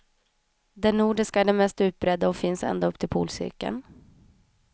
Den nordiska är den mest utbredda och finns ända upp till polcirkeln.